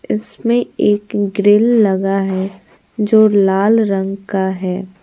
इसमें एक ग्रिल लगा है जो लाल रंग का है।